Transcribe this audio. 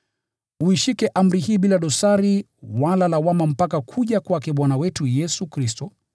uishike amri hii bila dosari wala lawama mpaka kuja kwake Bwana wetu Yesu Kristo,